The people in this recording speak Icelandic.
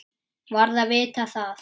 Varð að vita það.